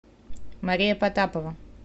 мария потапова